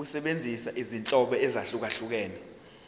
ukusebenzisa izinhlobo ezahlukehlukene